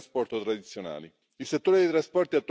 bine. Important este să le integrăm și să le rezolvăm.